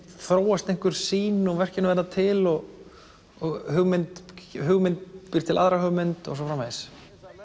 þróast einhver sýn og verkin verða til og og hugmynd hugmynd býr til aðra hugmynd og svo framvegis